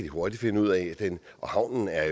hurtigt finde ud af havnen er